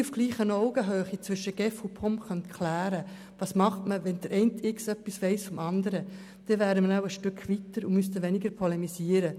Wenn man diese heiklen Fälle zwischen GEF und POM auf gleicher Augenhöhe klären könnte, indem der eine etwas vom anderen weiss, dann wären wir wohl einen Schritt weiter und müssten weniger polemisieren.